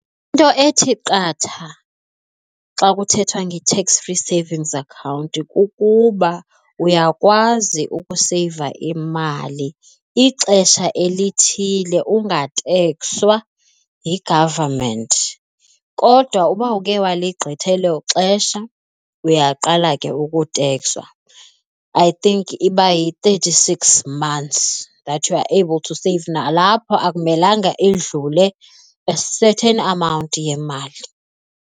Into ethi qatha xa kuthethwa nge-tax free savings account kukuba uyakwazi ukuseyiva imali ixesha elithile ungatekswa yi-government. Kodwa uba ukhe waligqitha elo xesha uyaqala ke ukutekswa. I think iba yi-thirty-six months that you are able to save nalapho akumelanga idlule a certain amount yemali.